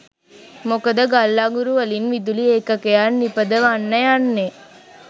මොකද ගල් අඟුරුවලින් විදුලි ඒකකයක් නිපදවන්න යන්නේ